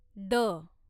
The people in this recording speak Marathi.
द